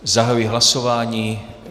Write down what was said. Zahajuji hlasování.